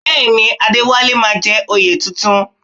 Bẹ́ẹ̀ ni, Adéwálé máa jẹ oyè tuntun